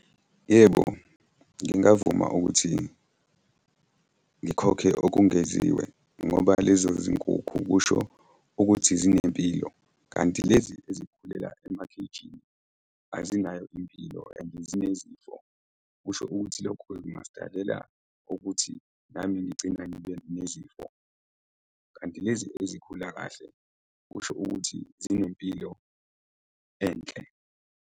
Yebo, ngingavuma ukuthi ngikhokhe okungeziwe ngoba lezo zinkukhu kusho ukuthi zinempilo, kanti lezi ezikhulela ema-cage-ini, azinayo impilo and zinezifo. Kusho ukuthi lokho-ke kungasidalela nje ukuthi nami ngigcina ngibe nezifo. Kanti lezi ezikhula kahle kusho ukuthi zinempilo enhle.